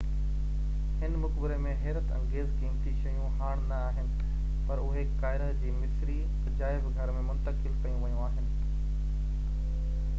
هن مقبري ۾ حيرت انگيز قيمتي شيون هاڻ نہ آهن پر اهي قاهره جي مصري عجائب گهر ۾ منتقل ڪيون ويون آهن